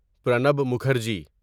Pranab Mukherjee